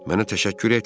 Mənə təşəkkür etmə.